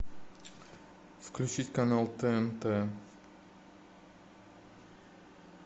включить канал тнт